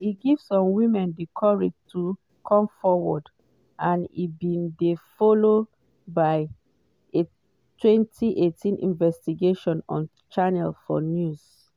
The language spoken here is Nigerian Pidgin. e give some women di courage to come forward - and e bin dey followed by a 2018 investigation on channel 4 news.